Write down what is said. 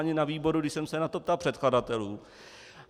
Ani na výboru, když jsem se na to ptal předkladatelů.